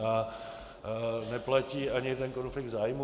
A neplatí ani ten konflikt zájmů.